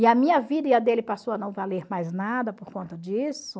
E a minha vida e a dele passou a não valer mais nada por conta disso.